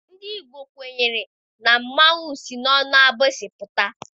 Ndị Igbo kwenyere na mmanwụ si n'ọnụ agbịsị apụta.